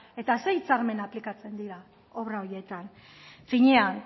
eta zein hitzarmen aplikatzen dira obra horietan finean